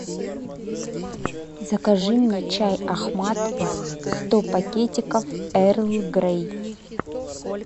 закажи мне чай ахмад сто пакетиков эрл грей